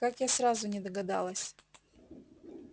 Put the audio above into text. как я сразу не догадалась